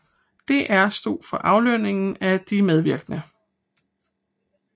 DR stod for aflønningen af de medvirkende